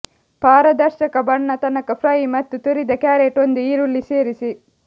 ಪಾರದರ್ಶಕ ಬಣ್ಣ ತನಕ ಫ್ರೈ ಮತ್ತು ತುರಿದ ಕ್ಯಾರೆಟ್ ಒಂದು ಈರುಳ್ಳಿ ಸೇರಿಸಿ